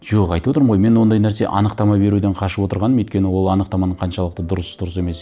жоқ айтып отырмын ғой мен ондай нәрсе анықтама беруден қашып отырғаным өйткені ол анықтаманы қаншалықты дұрыс дұрыс емес